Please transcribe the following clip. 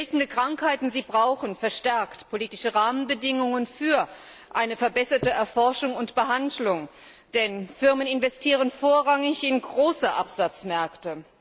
Seltene Krankheiten brauchen verstärkt politische Rahmenbedingungen für eine verbesserte Erforschung und Behandlung, denn Firmen investieren vorrangig in große Absatzmärkte.